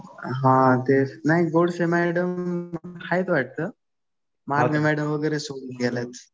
हा तेच. नाही, गोडसे मॅडम आहेत वाटतं. वाळके मॅडम वगैरे सोडून गेल्या.